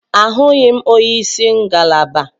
Ahụghị m onye isi ngalaba.